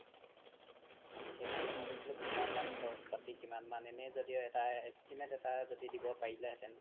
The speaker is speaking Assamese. সেইকাৰনে ভাবিছিলো কিমান মান খৰচ পাতি কিমান মান এনে য্দিও এটা estimate এটা দিব পাৰিলে হেতেন